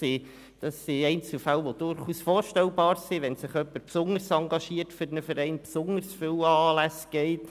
Solche Einzelfälle sind durchaus denkbar, wenn sich jemand besonders stark in einem Verein engagiert und an besonders viele Anlässe geht.